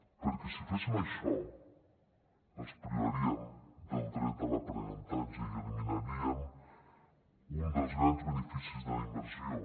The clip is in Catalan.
perquè si féssim això els privaríem del dret a l’aprenentatge i eliminaríem un dels grans beneficis de la immersió